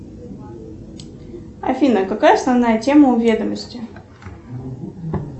афина какая основная тема у ведомости